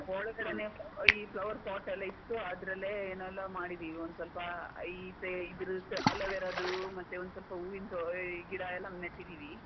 ಒಳಗಡೆನೆ ಈ flower pot ಎಲ್ಲ ಇಟ್ಟು ಅದ್ರಲ್ಲೇ ಎನ್ನೆಲ್ಲಾ ಮಾಡಿದ್ದೀವಿ, ಒಂದು ಸ್ವಲ್ಪ ಈಚೆ ಇದ್ರದ್ದು aloe vera ದ್ದು ಮತ್ತೆ ಒಂದು ಸ್ವಲ್ಪ ಹೂವಿನ್ ತೊ ಗಿಡ ಎಲ್ಲ ನೆಟ್ಟಿದೀವಿ.